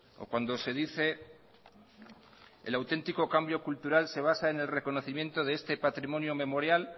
o cuando se dice el auténtico cambio cultural se basa en el reconocimiento de este patrimonio memorial